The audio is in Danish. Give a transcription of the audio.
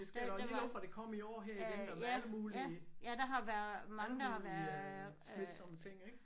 Jeg skal dog lige love for det kom i år her igen og med alle mulige alle mulige smitsomme ting ik